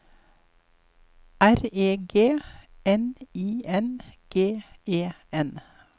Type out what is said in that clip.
R E G N I N G E N